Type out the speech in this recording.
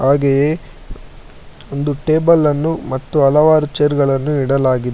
ಹಾಗೆ ಒಂದು ಟೇಬಲ್ ಅನ್ನು ಹಾಗೆ ಹಲವಾರು ಚೇರ್ ಗಳನ್ನು ನೋಡಬಹುದು.